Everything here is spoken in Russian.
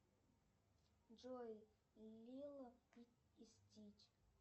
джой лило и стич